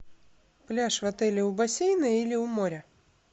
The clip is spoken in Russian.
пляж в отеле у бассейна или у моря